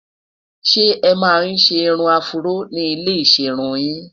ṣé é man ṣé irún afro ní ilẹ iserun yìn?